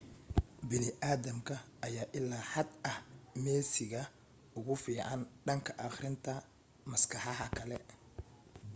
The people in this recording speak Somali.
bini aadamka ayaa ilaa xad ah meesiga ugu fiican dhanka akhrinta maskaxaha kale